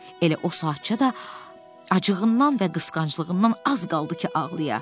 Elə o saatca da acığından və qısqanclığından az qaldı ki, ağlaya.